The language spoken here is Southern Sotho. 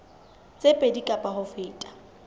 tse pedi kapa ho feta